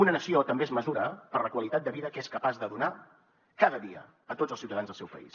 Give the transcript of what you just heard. una nació també es mesura per la qualitat de vida que és capaç de donar cada dia a tots els ciutadans del seu país